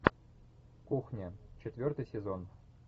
кухня четвертый сезон